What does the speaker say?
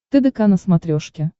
тдк на смотрешке